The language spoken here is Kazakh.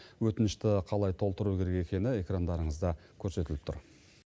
өтінішіті қалай толтыру керек екені экрандарыңызда көрсетіліп тұр